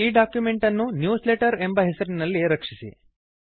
ಈ ಡಾಕ್ಯುಮೆಂಟ್ ಅನ್ನು ನ್ಯೂಸ್ಲೆಟರ್ ಎಂಬ ಹೆಸರಿನಲ್ಲಿ ರಕ್ಷಿಸಿ